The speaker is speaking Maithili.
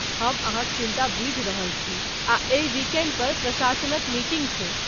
हम अहाँक चिंता बूझि रहल छी आ एहि विकेंड पर प्रशासनक मीटिंग छै।